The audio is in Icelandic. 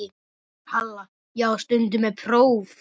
Halla: Já, stundum er próf.